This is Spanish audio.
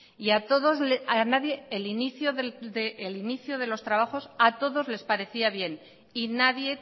a todos les parecía bien y nadie